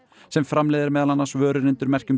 sem framleiðir meðal annars vörur undir merkjum